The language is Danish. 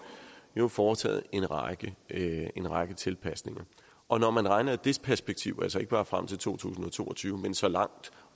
blevet foretaget en række en række tilpasninger og når man regner i det perspektiv altså ikke bare frem til to tusind og to og tyve men så langt